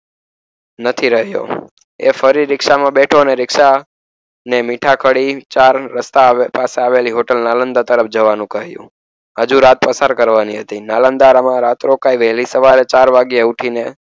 નથી રહ્યો એ ફરી રિક્ષામાં બેઠો અને રીક્ષા મીઠા કડી ચાર રસ્તા પાસે આવેલી હોટલ નાલંદા તરફ જવાનું કહ્યું. હજુ રાત પસાર કરવાની હતી. નાલંદામાં રાત રોકાઈને, પછી સવારે ચાર વાગે ઊઠીને,